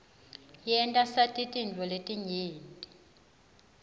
yenta sati tintfo letinyenti